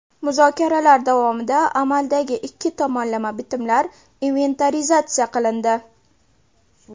Muzokaralar davomida amaldagi ikki tomonlama bitimlar inventarizatsiya qilindi.